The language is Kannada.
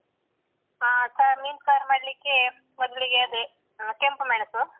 ಅಹ್ ಸಾರ್ ಮೀನ್ ಸಾರ್ ಮಾಡ್ಲಿಕೆ ಮೊದ್ಲಿಗೆ ಅದೇ ಅಹ್ ಕೆಂಪು ಮೆಣಸು.